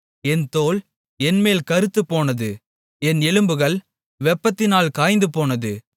என் தோல் என்மேல் கறுத்துப்போனது என் எலும்புகள் வெப்பத்தினால் காய்ந்துபோனது